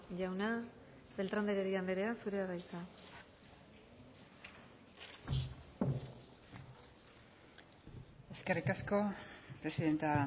jauna beltrán de heredia anderea zurea da hitza eskerrik asko presidente